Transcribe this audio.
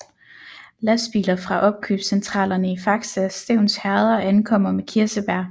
Lastbiler fra opkøbscentralerne i Fakse og Stevns Herreder ankommer med kirsebær